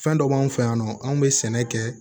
Fɛn dɔ b'anw fɛ yan nɔ anw bɛ sɛnɛ kɛ